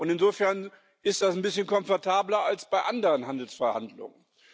Insofern ist das ein bisschen komfortabler als bei anderen Handelsverhandlungen.